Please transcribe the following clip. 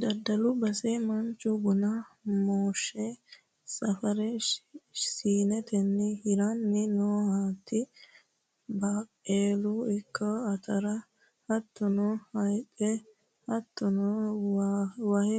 Daddalu basera manchu buna mooshe safare siinetenni hiranni no, hattonno baaqella ikko atara hattono hayixe hattono waahe